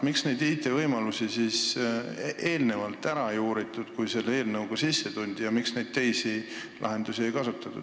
Miks neid IT-võimalusi ei uuritud enne, kui selle eelnõuga tuldi, ja miks ei kasutatud teisi lahendusi?